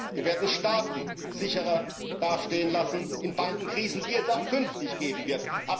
Wir werden Staaten sicherer dastehen lassen in Bankenkrisen, die es auch künftig geben wird.